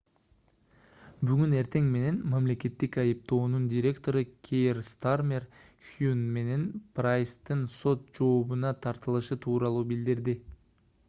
бүгүн эртең менен мамлекеттик айыптоонун директору кейр стармер хюн менен прайстын сот жообуна тартылышы тууралуу билдирди